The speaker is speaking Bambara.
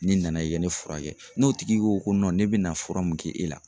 N'i nana i ke ne furakɛ n'o tigi ko ne bɛ na fura mun kɛ e la